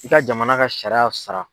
I ka jamana ka sariya sara.